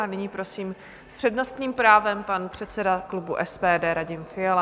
A nyní prosím s přednostním právem pan předseda klubu SPD Radim Fiala.